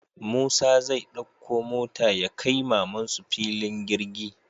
Musa zai ɗakko mota yakai mamansu fillin girgi